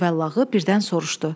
Cüvəllağı birdən soruşdu.